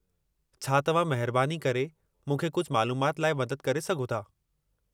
छा तव्हां महिरबानी करे मूंखे कुझु मालूमाति लाइ मदद करे सघो था?